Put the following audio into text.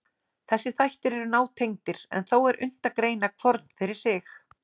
Þessir þættir eru nátengdir, en þó er unnt að greina hvorn fyrir sig.